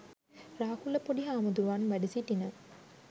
රාහුල පොඩිහාමුදුරුවන් වැඩ සිටින